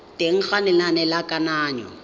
teng ga lenane la kananyo